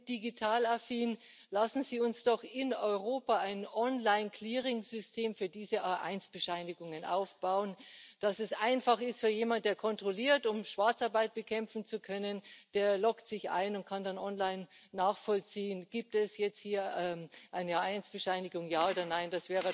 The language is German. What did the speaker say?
Sie sind digitalaffin, lassen Sie uns doch in Europa ein Online Clearingsystem für diese A1 Bescheinigungen aufbauen, damit es einfach ist für jemanden, der kontrolliert, um Schwarzarbeit bekämpfen zu können Der loggt sich ein und kann dann online nachvollziehen, ob es jetzt hier eine A1 Bescheinigung gibt, ja oder nein.